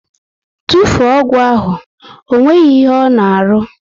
Tufuo ọgwụ ahụ! Ọ nweghị ihe ọ na arụ!